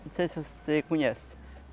Não sei se você conhece.